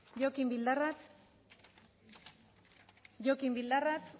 jokin bildarratz jokin bildarratz